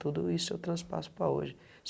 Tudo isso eu transpasso para hoje.